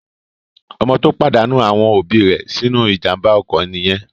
Ọmọ tó pàdánù àwọn òbí rẹ̀ sínú ìjàmbá ọkọ̀ nìyẹn.